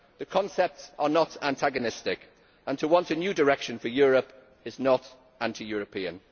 The concepts are not mutually antagonistic, and to want a new direction for Europe is not anti European.